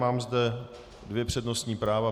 Mám zde dvě přednostní práva.